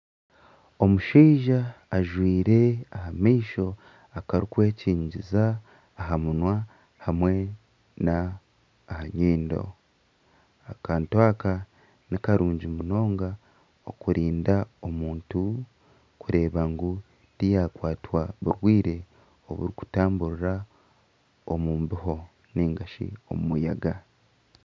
Omushaija ajwaire aha maisho akarikwekyigiza aha munwa hamwe n'aha nyindo akantu aka nikarungi munonga okurinda omuntu kureeba ngu tiyakwatwa burwaire oburikutamburira omu mbeho nigashi omu muyaga.